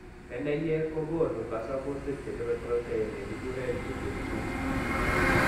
Keneyeek kokoonu kasubutik chechope protein ne kikuren lipin 2.